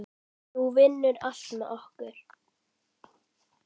Nú vinnur allt með okkur.